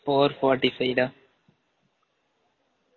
four forty five டா